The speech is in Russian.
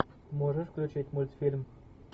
можешь включить мультфильм